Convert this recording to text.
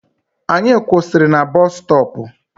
Anyị kwụsịrị na busutopu